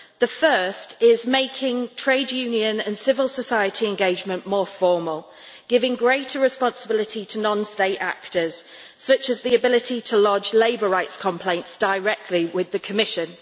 The first is making trade union and civil society engagement more formal, giving greater responsibility to non state actors, such as the ability to lodge labour rights complaints directly with the Commission.